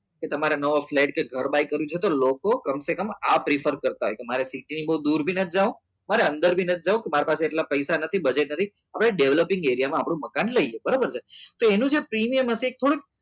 તો તમારે નવો ફ્લેટ કે ઘર બાય કરવું છે તો લોકો કમસેકમ આ prefer કરતા હોય કે મારે સીટીની બહુ દૂર નથી જવું કે અંદર પણ નથી જવું મારી પાસે એટલા બધા પૈસા નથી budget નથી હવે developing એરિયામાં આપણું મકાન લઈ લઈએ બરાબર છે તો એનું જે પ્રીમિયમ હશે કુલ